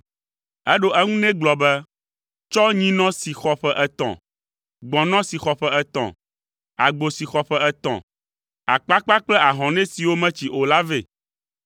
Eɖo eŋu nɛ gblɔ be, “Tsɔ nyinɔ si xɔ ƒe etɔ̃, gbɔ̃nɔ si xɔ ƒe etɔ̃, agbo si xɔ ƒe etɔ̃, akpakpa kple ahɔnɛ siwo metsi o la vɛ.”